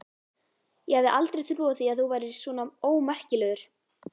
Ég hefði aldrei trúað því að þú værir svona ómerkilegur!